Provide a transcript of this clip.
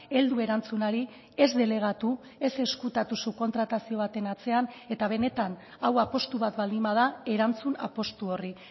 heldu erantzunari ez delegatu ez ezkutatu subkontratazio baten atzean eta benetan hau apustu bat baldin bada erantzun apustu horri